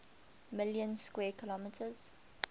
million square kilometers